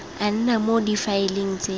a nna mo difaeleng tse